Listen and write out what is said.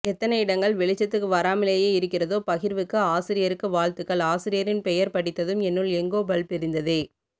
எத்தனை இடங்கள் வெளிச்சத்துக்கு வராமலேயே இருக்கிறதோ பகிர்வுக்கு ஆசிரியருக்கு வாழ்த்துகள் ஆசிரியரின் பெயர் படித்ததும் என்னுள் எங்கோ பல்ப் எரிந்ததே